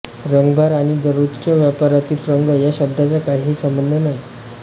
रंगभार आणि दररोजच्या वापरातील रंग या शब्दाचा काहीही संबंध नाही